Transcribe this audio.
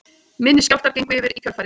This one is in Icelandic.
Minni skjálftar gengu yfir í kjölfarið